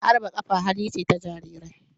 Harba kafa hali ce ta Jarirai.